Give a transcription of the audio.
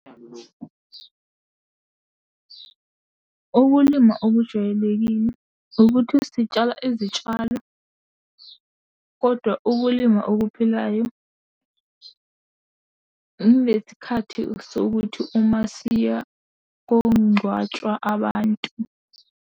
Ukulima okujwayelekile ukuthi sitshala izitshalo, kodwa ukulima okuphilayo ilesikhathi sokuthi uma siya kongcwatshwa abantu.